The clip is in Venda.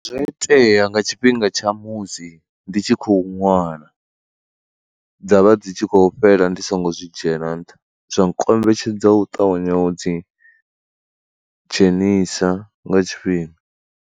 Zwo itea nga tshifhinga tsha musi ndi tshi khou ṅwala, dza vha dzi tshi khou fhela ndi songo zwi dzhiela nṱha zwa nkombetshedza u ṱavhanya u dzi dzhenisa nga tshifhinga.